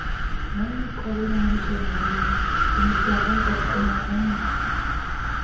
হ্যাঁ খবর আমারও সব ভালো. তোমার দেখাই পাচ্ছিনা এখন.